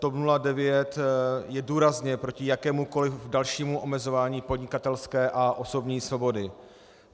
TOP 09 je důrazně proti jakémukoliv dalšímu omezování podnikatelské a osobní svobody.